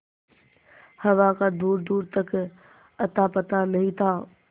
हवा का दूरदूर तक अतापता नहीं था